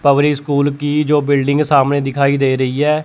Public school की जो building सामने दिखाई दे रही है।